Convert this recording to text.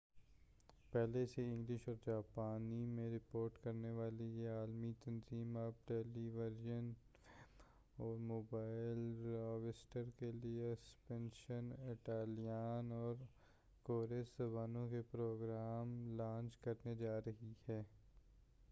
پہلے سے انگلش اور جاپانی میں رپورٹ کرنے والی یہ عالمی تنظیم اب ٹیلی وژن ویب اور موبائل ڈیوائسز کے لئے اسپینیش اٹالیان اور کورین زبانوں کے پروگرام لانچ کرنے جا رہی ہے